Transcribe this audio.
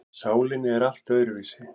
Sálin er allt öðruvísi.